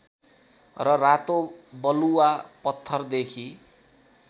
र रातो बलुआ पत्थरदेखि